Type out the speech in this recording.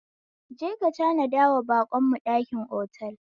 Je ka tanadawa baƙon mu ɗakin otal